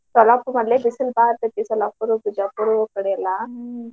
ಸೊಲ್ಲಾಪುರ್ ಅಲ್ಲೇ ಬಿಸಲ್ ಬಾಳ ಇರ್ತೇತಿ. ಸೊಲ್ಲಾಪುರ್, ಬಿಜಾಪುರ ಕಡೆ ಎಲ್ಲ,